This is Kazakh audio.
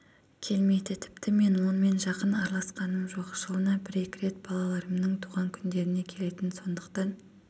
келмейді тіпті мен онымен жақын араласқаным жоқ жылына бір-екі рет балаларымның туған күндеріне келетін сондықтан